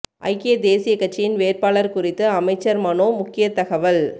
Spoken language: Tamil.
ஐக்கிய தேசிய கட்சியின் வேட்பாளர் குறித்து அமைச்சர் மனோ முக்கிய தகவல்